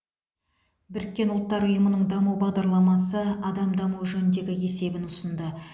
біріккен ұлттар ұйымының даму бағдарламасы адам дамуы жөніндегі есебін ұсынды